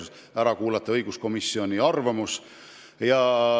Enne tuleb ära kuulata õiguskomisjoni arvamus.